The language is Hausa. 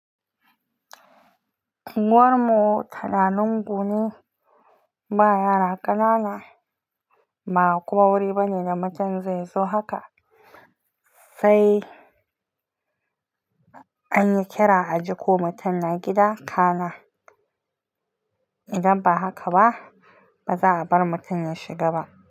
Uwar mu tana lungune, baya yara ƙanana, ba kowa wuri bane da mutum zai zo haka, sai anyi kira a ji ko mutum na gida kana. Idan ba haka ba, ba za a bar mutum ya shiga ba.